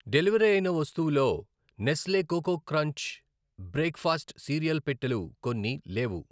Deliver అయిన వస్తువుల్లో Nestle Coco Crunch breakfast cereal పెట్టెలు కొన్ని లేవు.